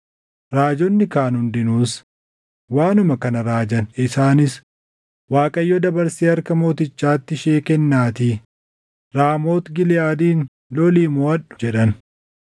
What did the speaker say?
Raajonni kaan hundinuus waanuma kana raajan. Isaanis, “ Waaqayyo dabarsee harka mootichaatti ishee kennaatii, Raamooti Giliʼaadin lolii moʼadhu” jedhan.